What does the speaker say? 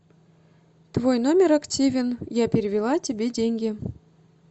твой номер активен я перевела тебе деньги